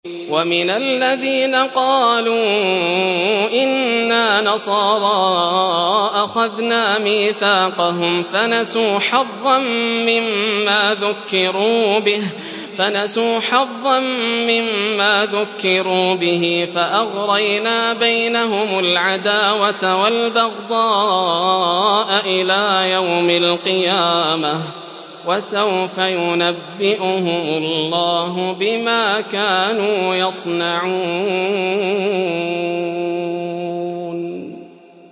وَمِنَ الَّذِينَ قَالُوا إِنَّا نَصَارَىٰ أَخَذْنَا مِيثَاقَهُمْ فَنَسُوا حَظًّا مِّمَّا ذُكِّرُوا بِهِ فَأَغْرَيْنَا بَيْنَهُمُ الْعَدَاوَةَ وَالْبَغْضَاءَ إِلَىٰ يَوْمِ الْقِيَامَةِ ۚ وَسَوْفَ يُنَبِّئُهُمُ اللَّهُ بِمَا كَانُوا يَصْنَعُونَ